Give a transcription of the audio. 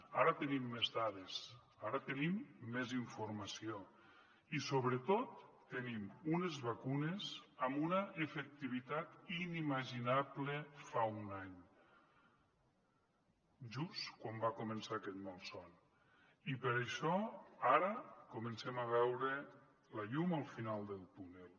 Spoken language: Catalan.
ara tenim més dades ara tenim més informació i sobretot tenim unes vacunes amb una efectivitat inimaginable fa un any just quan va començar aquest malson i per això ara comencem a veure la llum al final del túnel